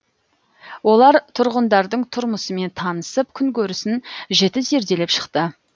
олар тұрғындардың тұрмысымен танысып күнкөрісін жіті зерделеп шықты